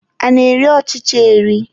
A na-eri ọchịcha eri.